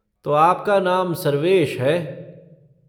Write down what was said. तो आपका नाम सर्वेश है।